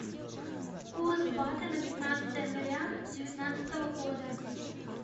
курс бата на пятнадцатое января девятнадцатого года